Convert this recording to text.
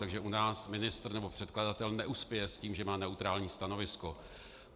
Takže u nás ministr nebo předkladatel neuspěje s tím, že má neutrální stanovisko.